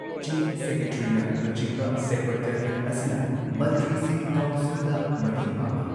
Chief ꯁꯦꯀ꯭ꯔꯦꯇꯔꯤꯅ ꯂꯨꯆꯤꯡꯕ secretariat ꯑꯁꯤꯅ ꯃꯟꯇ꯭ꯔꯤꯁꯤꯡꯒꯤ ꯀꯥꯎꯟꯁꯤꯜꯗ ꯃꯇꯦꯡ ꯄꯥꯡꯏ꯫